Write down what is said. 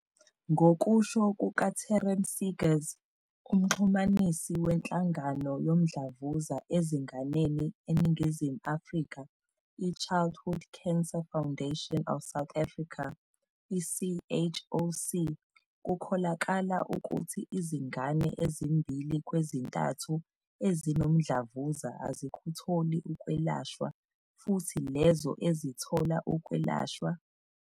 Ngokusho kuka-Taryn Seegers, uMxhumanisi weNhlangano Yomdlavuza Ezinganeni eNingizimu Afrika i-Childhood Cancer Foundation of South Africa, i-CHOC, kukholakala ukuthi izingane ezimbili kwezintathu ezinomdlavuza azikutholi ukwelashwa futhi lezo ezithola ukwelashwa.